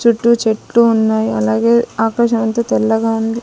చుట్టూ చెట్టు ఉన్నాయి అలాగే ఆకాశం అంతా తెల్లగా ఉంది.